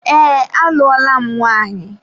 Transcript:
Ee, alụọla m nwanyị.